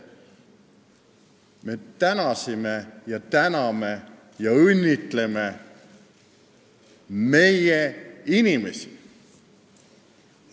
Me tänasime, täname ja õnnitleme meie inimesi.